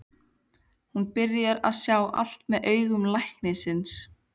Hún byrjar að sjá allt með augum læknisins.